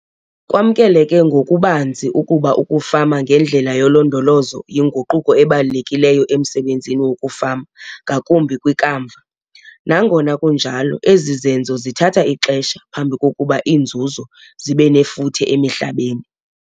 Kwamkeleke ngokubanzi ukuba ukufama ngendlela yolondolozo yinguquko ebalulekileyo emsebenzini wokufama ngakumbi kwikamva, nangona kunjalo ezi zenzo zithatha ixesha phambi kokuba iinzuzo zibe nefuthe emihlabeni.